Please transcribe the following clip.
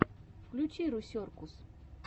включи русеркус